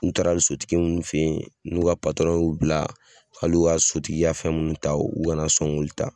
N taara sotigi mun fɛ ye n'u ka y'u bila hali u ka sotigi ka fɛn minnu ta u kana sɔn k'olu ta.